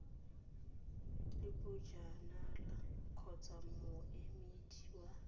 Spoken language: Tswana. le bojanala kgotsa moemedi wa